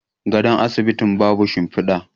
gadon asibitin babu shimfida